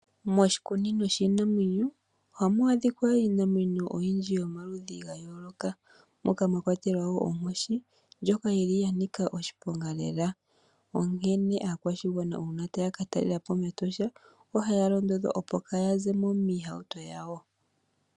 Moshikunino shiinamwenyo ohamu adhika iinamwenyo oyindji yomaludhi ga yooloka, moka mwa kwatelwa wo oonkoshi ndjoka yili ya nika oshiponga lela, onkene aakwashigwana uuna taya ka talelapo mEtosha, ohaya londodhwa opo kaa ya zemo miihauto yawo.